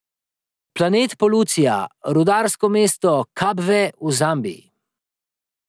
Planet Polucija, rudarsko mesto Kabve v Zambiji.